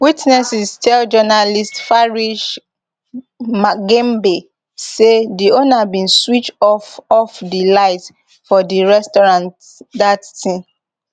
witnesses tell journalist farish magembe say di owner bin switch off off di light for di restaurant dat tin